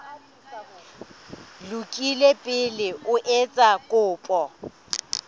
lokile pele o etsa kopo